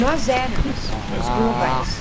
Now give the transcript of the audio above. Nós éramos os globais.